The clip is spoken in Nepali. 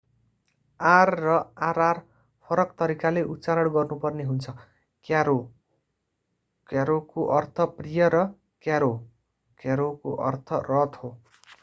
r र rr फरक तरिकाले उच्चारण गर्नु पर्ने हुन्छ: क्यारोcaro को अर्थ प्रिय र क्यारोcarro को अर्थ रथ हो।